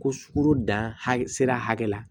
Ko sukoro dan hakɛ sera hakɛ la